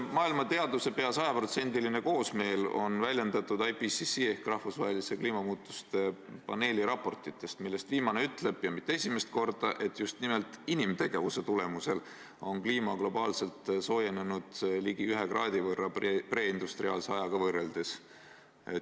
" Maailma teaduse peaaegu sajaprotsendiline koosmeel on väljendatud IPCC ehk valitsustevahelise kliimamuutuste paneeli raportites, millest viimane ütleb – ja mitte esimest korda –, et just nimelt inimtegevuse tulemusel on kliima globaalselt soojenenud ligi kraadi võrra preindustriaalse ajaga võrreldes.